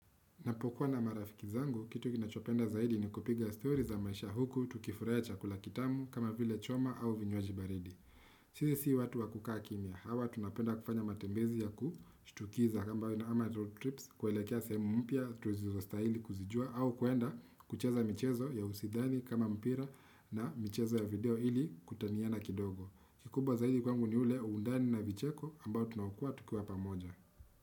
Napokuwa na marafiki zangu, kitu kinachopenda zaidi ni kupiga story za maisha huku tukifurahia chakula kitamu kama vile choma au vinywaji baridi. Sisi si watu wa kukaa kimya, hawa tunapenda kufanya matembezi ya kushtukiza ama road trips, kuelekea sehemu mpya, tusizostahili kuzijua au kuenda kucheza michezo ya usidhani kama mpira na michezo ya video ili kutaniana kidogo. Kikubwa zaidi kwangu ni ule undani na vicheko ambao tunaokoa tukiwa pamoja.